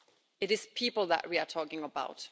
It is people that we are talking about.